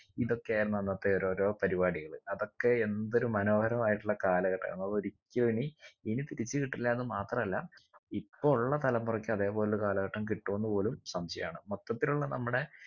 ഇതൊക്കെയായിരുന്നു അന്നത്തെ ഓരോരോ പരിപാടികൾ അതൊക്കെ എന്തൊരു മനോഹരമായിട്ടുള്ള കാലഘട്ടാണ് അതൊരിക്കലു ഇനി ഇനി തിരിച്ച് കിട്ടില്ലാന്ന് മാത്രല്ല ഇപ്പോ ഉള്ള തലമുറക്ക് അതെ പോലെയുള്ളൊരു കാലഘട്ടം കിട്ടോന്ന് പോലും സംശയാണ് മൊത്തത്തിലുള്ള നമ്മുടെ